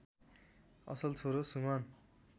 असल छोरो सुमन